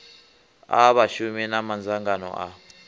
a vhashumi na madzangano a